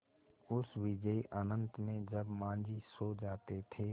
उस विजन अनंत में जब माँझी सो जाते थे